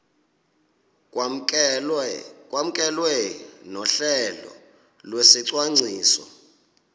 kwamkelwe nohlelo lwesicwangciso